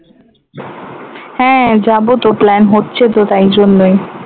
হ্যাঁ যাবো তো plan হচ্ছে তো তাই জন্যই